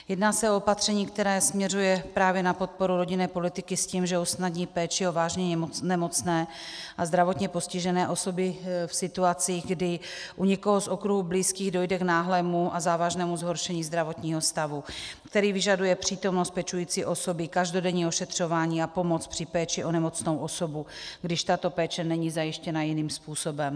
Jedná se o opatření, které směřuje právě na podporu rodinné politiky s tím, že usnadní péči o vážně nemocné a zdravotně postižené osoby v situaci, kdy u někoho z okruhu blízkých dojde k náhlému a závažnému zhoršení zdravotního stavu, který vyžaduje přítomnost pečující osoby, každodenní ošetřování a pomoc při péči o nemocnou osobu, když tato péče není zajištěna jiným způsobem.